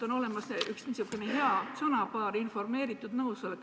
On olemas üks niisugune hea sõnapaar nagu "informeeritud nõusolek".